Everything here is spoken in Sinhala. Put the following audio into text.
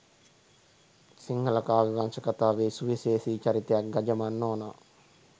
සිංහල කාව්‍ය වංශකථාවේ සුවිශේෂී චරිතයක් ගජමන් නෝනා